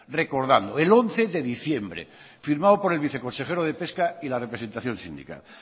el once de diciembre firmado por el viceconsejero de pesca y la representación sindical